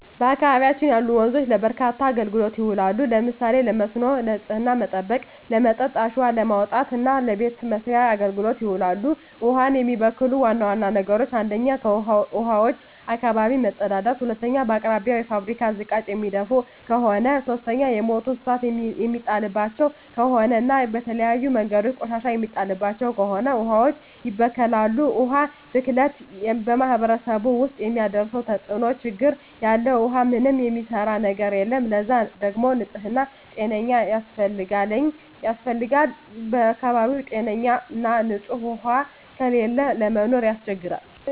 በአካባቢያችን ያሉ ወንዞች ለበርካታ አገልግሎቶች ይውላሉ። ለምሳሌ ለመስኖ፣ ንጽህናን ለመጠበቅ፣ ለመጠጥ፣ አሸዋ ለማውጣት እና ለበቤት መሥርያ አገልግሎት ይውላሉ። ውሀን የሚበክሉ ዋና ዋና ነገሮች 1ኛ ከውሀዋች አካባቢ መጸዳዳት መጸዳዳት 2ኛ በአቅራቢያው የፋብሪካ ዝቃጭ የሚደፍ ከሆነ ከሆነ 3ኛ የሞቱ እንስሳት የሚጣልባቸው ከሆነ እና በተለያዩ መንገዶች ቆሻሻ የሚጣልባቸው ከሆነ ውሀዋች ይበከላሉ። የውሀ ብክለት በማህረሰቡ ውስጥ የሚያደርሰው ተጽዕኖ (ችግር) ያለ ውሃ ምንም የሚሰራ ነገር የለም ለዛ ደግሞ ንጽህና ጤነኛ ውሃ ያስፈልጋል በአካባቢው ጤነኛ ና ንጽህ ውሃ ከሌለ ለመኖር ያስቸግራል።